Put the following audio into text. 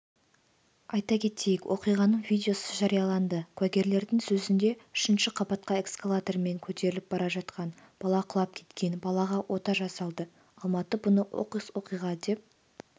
айта кетейік оқиғаның видеосы жарияланды куәгерлердің сөзінде үшінші қабатқа эскалатормен көтеріліп бара жатқан балақұлап кеткен балағаотажасалды алматы бұны оқыс оқиға деп